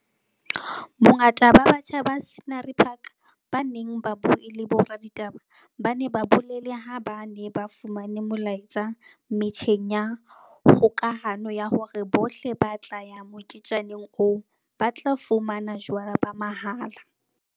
Bongata ba batjha ba Scenery Park ba neng ba bue le boraditaba ba ne ba bolele ha ba ne ba fumane molaetsa metjheng ya kgokahano ya hore bohle ba tla ya moketjaneng oo ba tla fumana jwala ba mahala.